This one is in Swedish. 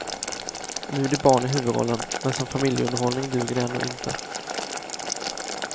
Nu är det barn i huvudrollen, men som familjeunderhållning duger det ändå inte.